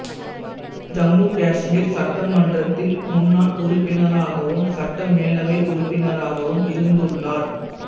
ஜம்முகாஷ்மீர் சட்டமன்றத்தின் முன்னாள் உறுப்பினராகவும் சட்ட மேலவை உறுப்பினராகவும் இருந்துள்ளார்